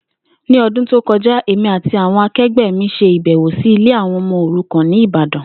Ní o̩dún tó ko̩já, èmi àti àwo̩n ake̩gbé̩ mi s̩e ìbè̩wò sí ilé àwo̩n o̩mo̩ òrukàn ní Ìbàdàn